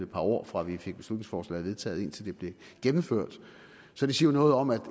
par år fra vi fik beslutningsforslaget vedtaget til det blev gennemført så det siger noget om at